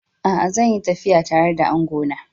A'a, zan yi tafiya tare da angona.